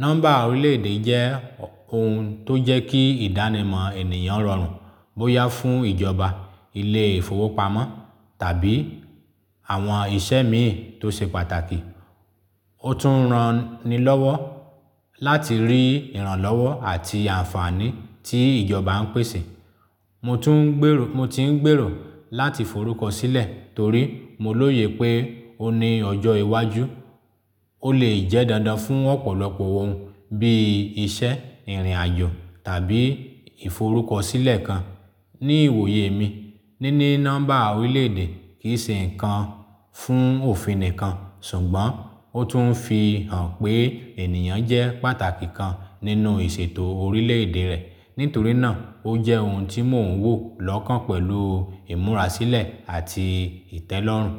Nọ́mbà orílẹ̀-èdè jẹ́ ohun tó jẹ́ kí ìdánimọ̀ ènìyàn rọrùn bóyá fún ìjọba, ilé ìfowópamọ́ tàbí àwọn iṣẹ́ míì tó ṣe pàtàkì. Ó tún ran ni lọ́wọ́ láti rí ìrànlọ́wọ́ àti àǹfààní tí ìjọba ń pèsè. Mo ti ń gbèrò láti forúkọ sílẹ̀ torí mo lóye pé ó ní ọjọ́ iwájú. Ó lè jẹ́ dandan fún ọ̀pọ̀lọpọ̀ ohun bí i iṣẹ́, ìrìn-àjò tàbí ìforúkọsílẹ̀ kan. Ní ìwòye mi, níní nọ́mbà orílẹ̀ èdè kì í ṣe nǹkan fún òfin nìkan, ṣùgbọ́n ó tún fi hàn pé ènìyàn jẹ́ pàtàkì kan nínú ìṣètò orílẹ̀-èdè rẹ̀. Nítorí náà, ó jẹ́ ohun tí mò ń wò lọ́kàn pẹ̀lú ìmúrasílẹ̀ àti ìtẹ́lọ́rùn.